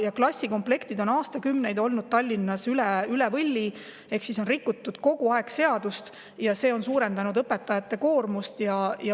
Ja klassikomplektid on Tallinnas olnud aastakümneid üle võlli ehk kogu aeg on rikutud seadust, ja see on suurendanud õpetajate koormust.